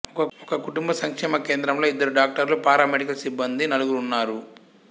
ఒక కుటుంబ సంక్షేమ కేంద్రంలో ఇద్దరు డాక్టర్లు పారామెడికల్ సిబ్బంది నలుగురు ఉన్నారు